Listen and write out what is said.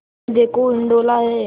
यह देखो हिंडोला है